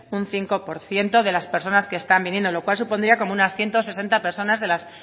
un cinco por ciento de las personas que están viniendo lo cual supondría como unas ciento sesenta personas de las